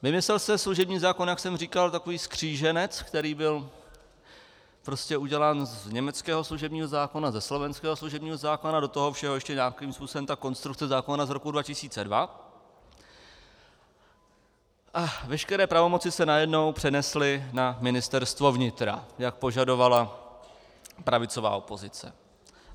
Vymyslel se služební zákon, jak jsem říkal, takový kříženec, který byl prostě udělán z německého služební zákona, ze slovenského služebního zákona, do toho všeho ještě nějakým způsobem ta konstrukce zákona z roku 2002 a veškeré pravomoci se najednou přenesly na Ministerstvo vnitra, jak požadovala pravicová opozice.